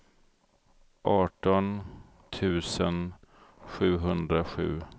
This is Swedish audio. arton tusen sjuhundrasju